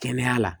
Kɛnɛya la